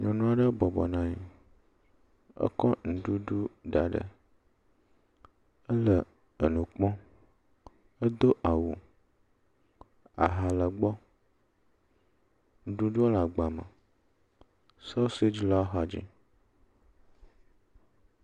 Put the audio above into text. Nyɔnu aɖe bɔbɔ nɔ anyi. Ekɔ nuɖuɖu da ɖe, ele enu kpɔm. Edo awu, aha le gbɔ. Nuɖuɖu le agbame. Sɔsedzi le wo axadzi